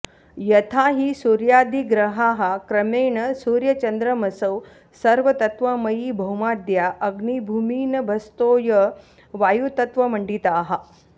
यथा हि सूर्यादिग्रहाः क्रमेण सूर्याचन्द्रमसौ सर्वतत्त्वमयी भौमाद्या अग्निभूमिनभस्तोयवायुतत्त्वमण्डिताः